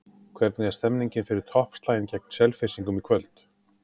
Hvernig er stemningin fyrir toppslaginn gegn Selfyssingum í kvöld?